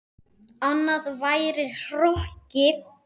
Annað væri hroki.